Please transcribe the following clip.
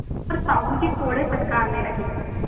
पर साहु जी कोड़े फटकारने लगे